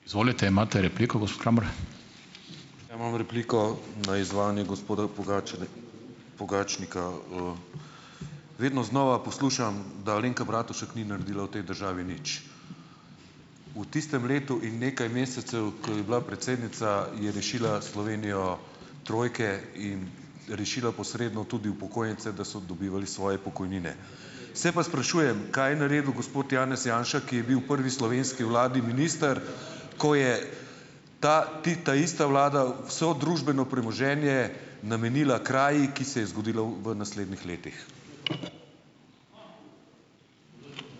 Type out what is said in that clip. Ja, imam repliko na izvajanje gospoda Pogačarja, Pogačnika. Vedno znova poslušam, da Alenka Bratušek ni naredila v tej državi nič. V tistem letu in nekaj mesecev, ko je bila predsednica, je rešila Slovenijo trojke in rešila posredno tudi upokojence, da so dobivali svoje pokojnine. Se pa sprašujem, kaj je naredil gospod Janez Janša, ki je bil v prvi slovenski vladi minister, ko je ta, taista vlada vse družbeno premoženje namenila kraji, ki se je zgodila v, v naslednjih letih.